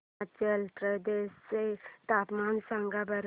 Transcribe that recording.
हिमाचल प्रदेश चे तापमान सांगा बरं